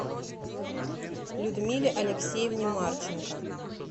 людмиле алексеевне марченко